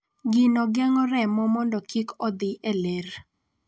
Gino geng�o remo mondo kik odhi e ler.